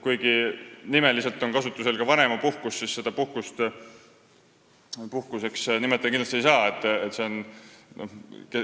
Kuigi on kasutusel ka sõna "vanemapuhkus", seda puhkuseks kindlasti nimetada ei saa.